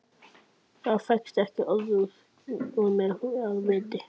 Það fékkst ekki orð upp úr mér af viti.